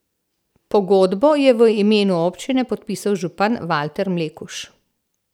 Pogodbo je v imenu občine podpisal župan Valter Mlekuž.